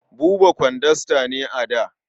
Buba kwandasta ne a da.